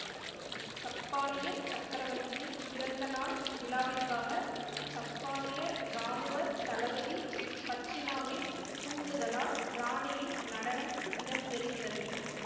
சப்பானியச் சக்கரவர்த்தியின் பிறந்த நாள் விழாவிற்காக சப்பானிய இராணுவ தளபதி பச்சினாவின் தூண்டுதலால் ராணியின் நடனம் இடம்பெறுகிறது